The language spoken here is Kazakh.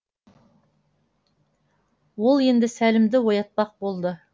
ол енді сәлімді оятпақ болды